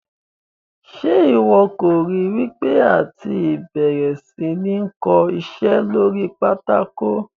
Ṣe iwọ kò ri wipe àti bẹ̀rẹ̀ sí ní kó iṣẹ́ lórí pátákó?